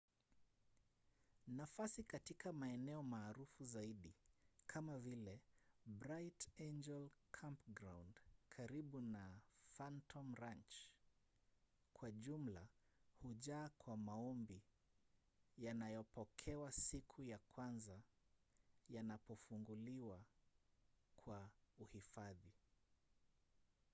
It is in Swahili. nafasi katika maeneo maarufu zaidi kama vile bright angel campground karibu na phantom ranch kwa jumla hujaa kwa maombi yanayopokewa siku ya kwanza yanapofunguliwa kwa uhifadhi